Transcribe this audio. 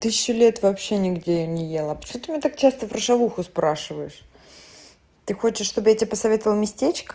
тысячу лет вообще нигде я не ела почему так часто про шавуху спрашиваешь ты хочешь чтобы я тебе посоветовала местечко